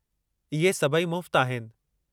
इहे सभई मुफ़्त आहिनि।